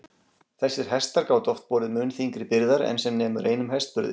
Þessir hestar gátu oft borið mun þyngri byrðar en sem nemur einum hestburði.